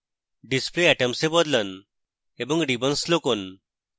display atoms এ বদলান এবং ribbons লুকোন